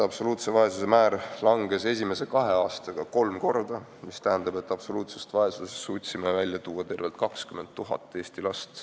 Absoluutses vaesuses elavate laste arv vähenes esimese kahe aastaga kolm korda, mis tähendab, et suutsime absoluutsest vaesusest välja tuua tervelt 20 000 Eesti last.